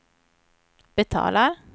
betalar